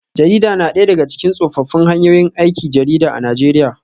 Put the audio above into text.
Jarida na daya daga cikin tsofaffin hanyoyin aikin jarida a Najeriya